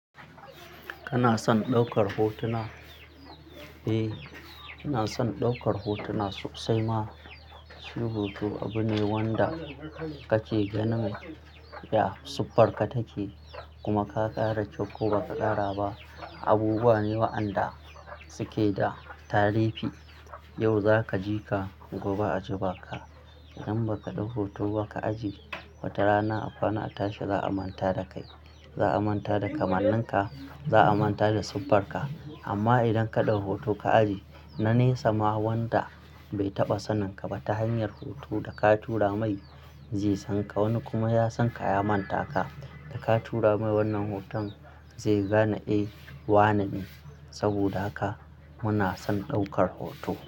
Kana son ɗaukar hotuna? Eh, ina son ɗaukar hotuna sosai ma. Shi hoto abu ne wanda kake ganin ya siffarka take kuma ka ƙara kyau ko ba ka ƙara ba. Abubuwa ne wa'anda suke da tarihi. Yau za ka ji ka, gobe a ji ba ka. Idan ba ka ɗau hoto ba ka ajiye, wata rana a kwana, a tashi za a manta da kai. Za a manta da kamanninka, za a manta da siffarka. Amma idan ka ɗau hoton ka ajiye, na ne sama wanda bai taɓa saninka ba ta hanyar hoto da ka tura mai zai san ka. Wani kuma ya san ka ya manta ka, da ka tura mai wannan hoton zai gane eh, wane ne. Saboda haka muna son ɗaukar hoto.